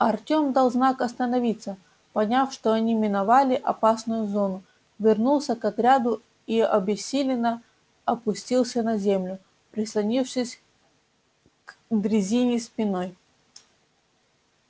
артём дал знак остановиться поняв что они миновали опасную зону вернулся к отряду и обессиленно опустился на землю прислонившись к дрезине спиной